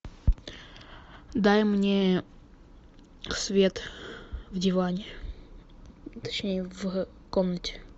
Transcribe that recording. дай мне свет в диване точнее в комнате